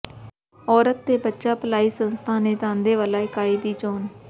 ਔਰਤ ਤੇ ਬੱਚਾ ਭਲਾਈ ਸੰਸਥਾ ਨੇ ਥਾਂਦੇਵਾਲਾ ਇਕਾਈ ਦੀ ਚੋਣ